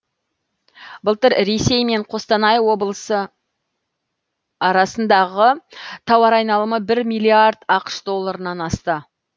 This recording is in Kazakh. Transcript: былтыр ресей мен қостанай облысы арасындғы тауар айналымы бір миллиард ақш долларынан асты